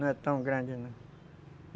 Não é tão grande não.